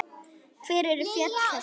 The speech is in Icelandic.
Hver eru fjöll þessi?